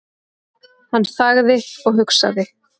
Hann þagði og hugsaði.